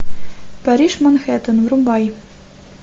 париж манхэттен врубай